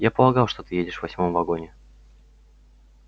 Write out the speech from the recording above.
я полагал что ты едешь в восьмом вагоне